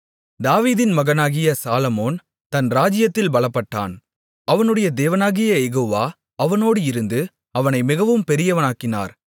தாவீதின் மகனாகிய சாலொமோன் தன் ராஜ்ஜியத்தில் பலப்பட்டான் அவனுடைய தேவனாகிய யெகோவா அவனோடு இருந்து அவனை மிகவும் பெரியவனாக்கினார்